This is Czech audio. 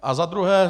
Za druhé.